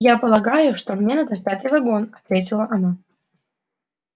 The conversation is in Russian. я полагаю что мне надо в пятый вагон ответила она